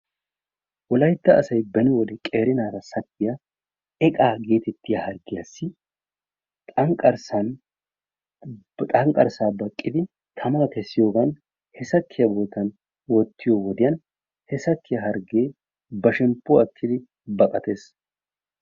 Wolaytta asay beni wode qeeri naata sakkiya eqqaa gettettiya harggiyaassi xanqqarssan, xanqqarssa baqqiddi tammaa kessiyogan he sakkiya boottan woottiyo wodiyan he sakkiya harggee ba shemppuwa ekkidi baqattees.